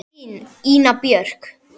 Þín, Ína Björk.